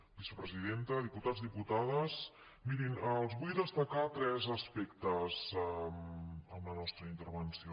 vicepresidenta diputats dipu·tades mirin els vull destacar tres aspectes en la nos·tra intervenció